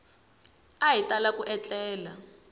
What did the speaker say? a hi tala ku etlela